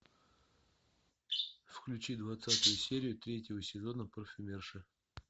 включи двадцатую серию третьего сезона парфюмерша